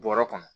Bɔrɔ kɔnɔ